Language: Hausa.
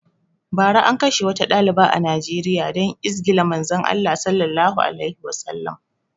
Bara an kashe wata ɗaliba a Nijeriya dan izgila Manzon Allah Sallallahu alaihi Wasallama